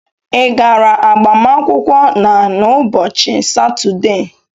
ị gara agbamakwụkwọ na n'ụbọchị Satọde?